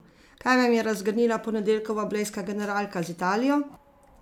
Kaj vam je razgrnila ponedeljkova blejska generalka z Italijo?